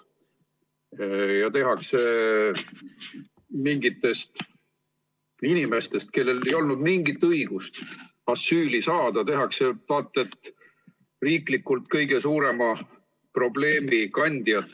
Ja tehakse mingitest inimestest, kellel ei olnud mingit õigust asüüli saada, vaat et riiklikult kõige suurema probleemi kandjad.